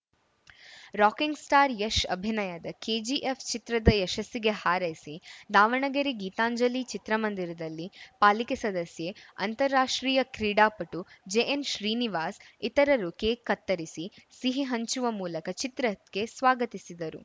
rocking star Yash ಅಭಿನಯದ KGF ಚಿತ್ರದ ಯಶಸ್ಸಿಗೆ ಹಾರೈಸಿ ದಾವಣಗೆರೆ ಗೀತಾಂಜಲಿ ಚಿತ್ರ ಮಂದಿರದಲ್ಲಿ ಪಾಲಿಕೆ ಸದಸ್ಯೆ ಅಂತಾರಾಷ್ಟ್ರೀಯ ಕ್ರೀಡಾಪಟು ಜೆಎನ್‌ಶ್ರೀನಿವಾಸ್ ಇತರರು ಕೇಕ್‌ ಕತ್ತರಿಸಿ ಸಿಹಿ ಹಂಚುವ ಮೂಲಕ ಚಿತ್ರಕ್ಕೆ ಸ್ವಾಗತಿಸಿದರು